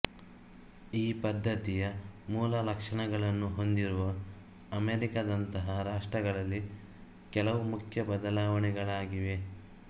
ಈ ಪದ್ಧತಿಯ ಮೂಲಲಕ್ಷಣಗಳನ್ನು ಹೊಂದಿರುವ ಅಮೆರಿಕದಂಥ ರಾಷ್ಟ್ರಗಳಲ್ಲಿ ಕೆಲವು ಮುಖ್ಯ ಬದಲಾವಣೆಗಳಾಗಿವೆ